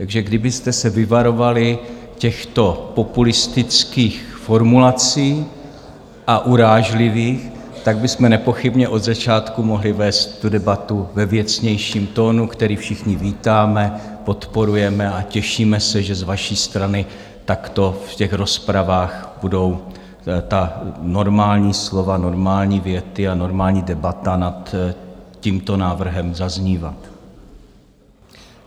Takže kdybyste se vyvarovali těchto populistických formulací a urážlivých, tak bychom nepochybně od začátku mohli vést tu debatu ve věcnějším tónu, který všichni vítáme, podporujeme a těšíme se, že z vaší strany takto v těch rozpravách budou ta normální slova, normální věty a normální debata nad tímto návrhem zaznívat.